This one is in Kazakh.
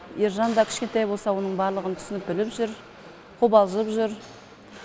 ержан да кішкентай болса да оның барлығын түсініп біліп жүр қобалжып жүр